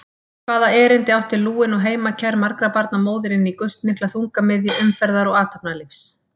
Hvaða erindi átti lúin og heimakær margra barna móðir inní gustmikla þungamiðju umferðar og athafnalífs?